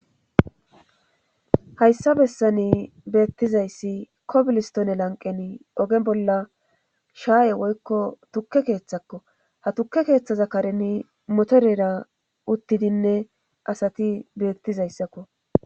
Hayssa bessani beettizayssi kobilistone lanqeni ogen bolla shaaye woykko tukke keeththakko ha tukke keeththaza kareni motorera uttidinne asati beettizayssakko